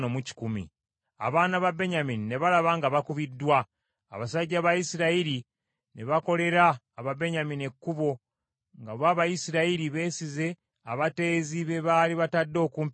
Abaana ba Benyamini ne balaba nga bakubiddwa. Abasajja ba Isirayiri ne bakolera Ababenyamini ekkubo, nga bo Abayisirayiri beesize abateezi be baali batadde okumpi ne Gibea.